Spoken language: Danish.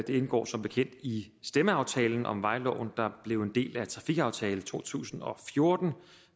indgår som bekendt i stemmeaftalen om vejloven der blev en del af trafikaftale to tusind og fjorten